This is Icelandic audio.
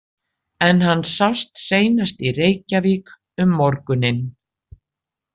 En hann sást seinast í Reykjavík um morguninn.